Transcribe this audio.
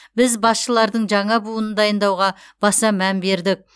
біз басшылардың жаңа буынын дайындауға баса мән бердік